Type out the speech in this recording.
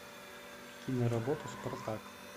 киноработа спартак